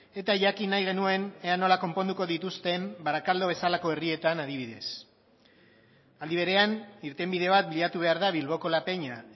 eta jakin nahi genuen ea nola konponduko dituzten barakaldo bezalako herrietan adibidez aldi berean irtenbide bat bilatu behar da bilboko la peña